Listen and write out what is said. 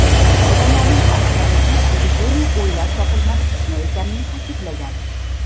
Odamlarning aksar qismi epidemiya o‘ylab topilgan fitna ekanini ta’kidlagan.